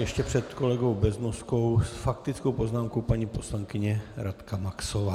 Ještě před kolegou Beznoskou s faktickou poznámkou paní poslankyně Radka Maxová.